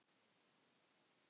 Smakka það.